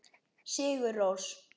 Sigur Rós.